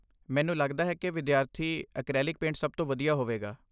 ਮੈਨੂੰ ਲਗਦਾ ਹੈ ਕਿ ਵਿਦਿਆਰਥੀ ਐਕਰੈਲਿਕ ਪੇਂਟ ਸਭ ਤੋਂ ਵਧੀਆ ਹੋਵੇਗਾ।